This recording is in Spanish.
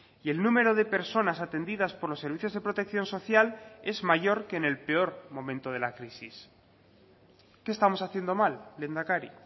y el número de personas atendidas por los servicios de protección social es mayor que en el peor momento de la crisis qué estamos haciendo mal lehendakari